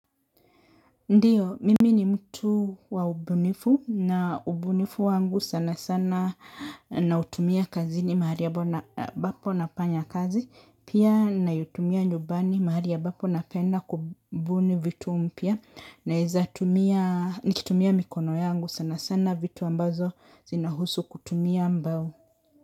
Ndiyo, mimi ni mtu wa ubunifu na ubunifu wangu sana sana na utumia kazini mahali ambapo nafanya kazi. Pia naitumia nyumbani mahali ambapo napenda kubuni vitu mpya naezatumia mikono yangu sana sana vitu ambazo zina husu kutumia mbao.